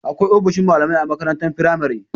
Akwai ofishin malamai a makarantar firamare.